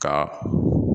Ka